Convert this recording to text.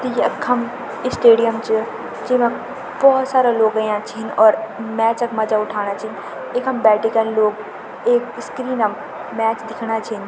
त यखम स्टेडियम च जेमा भोत सारा लोग अयां छिन और मैच क मजा उठाना छिन इखम बैठिकन लोग एक स्क्रीनम मैच दिखणा छिन।